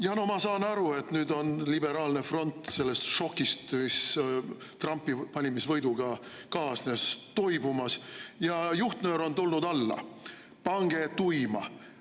Jaa, no ma saan aru, et nüüd on liberaalne front toibumas sellest šokist, mis Trumpi valimisvõiduga kaasnes, ja juhtnöör on tulnud alla: pange tuima!